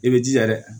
I bɛ jija